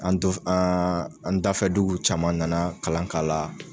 An to fe an an dafɛduguw caman nana kalan k'ala